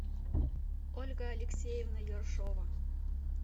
ольга алексеевна ершова